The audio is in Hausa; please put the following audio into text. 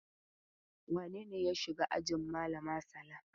Wane ne ya shiga ajin malama Sala?